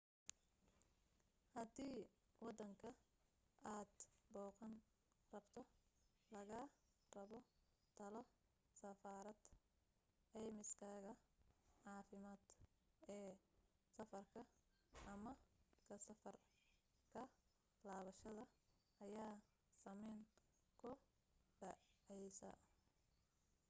hadii waddanka aad booqan rabto laga rabo talo safareed caymiskaaga caafimaad ee safarka ama ka safar ka laabashada ayaa saameyn ku dhacaysaa